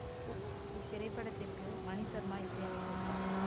இத்திரைப்படத்திற்கு மணி சர்மா இசை அமைத்துள்ளார்